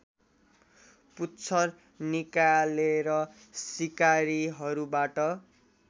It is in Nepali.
पुच्छर निकालेर शिकारीहरूबाट